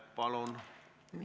Palun!